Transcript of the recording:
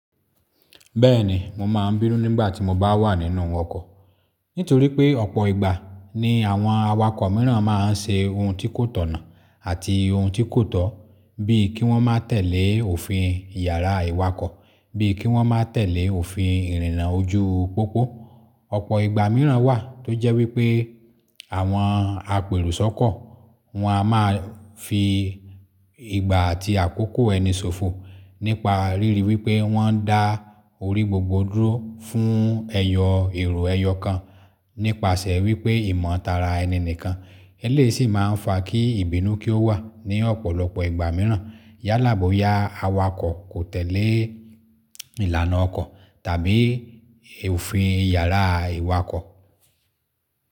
Bẹ́ẹ̀ni, mo máa ń bínú nígbà tí mo bá wà nínú ọkọ̀. Nítorí pé ọ̀pọ̀ ìgbà ni àwọn awakọ̀ mìíràn máa ń ṣe ohun tí kò tọ̀nà àti ohun tí kò tọ́, bíi kí wọ́n má tẹ̀lé òfin ìyára ìwakọ̀, bíi kí wọ́n má tẹ̀lé òfin ìrìnnà ojú pópó. O Ọ̀pọ̀ ìgbà mìíràn wà tó jẹ́ wípé, a àwọn apèrò sọ́kọ̀ wọ́n á máa fi, i ìgbà àti àkókò ẹni ṣòfò nípa ríri wípé wọ́n ń dá o orí gbogbo dúró fún ẹyọ èrò ẹyọ kan nípasẹ̀ wípé ìmọ̀ tara ẹni nìkan. Eléyìí sì máa ń fa kí ìbínú kí ó wà ní ọ̀pọ̀lọpọ̀ ìgbà mìíràn. Yálàbò ya awakọ̀ kò tẹ̀lé ìlànà ọkọ̀ tàbí òfin ìyára ìwakọ̀.